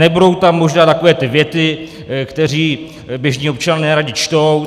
Nebudou tam možná takové ty věty, které běžní občané neradi čtou.